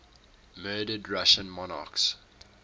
murdered russian monarchs